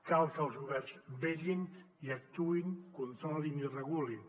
cal que els governs vetllin i actuïn controlin i regulin